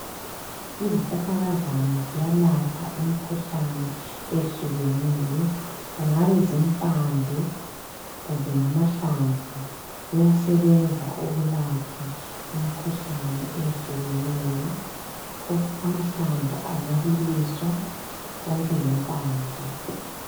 Izihlahlakazana ziyalapha imikhuhlane ehlukeneyo kungabe zimpande kumbe amahlamvu kuyasebenza ukulapha imikhuhlane ehlukeneyo amahlamvu angabiliswa konke lempande.